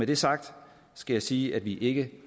det sagt skal jeg sige at vi ikke